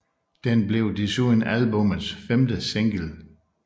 Den blev desuden albummets femte single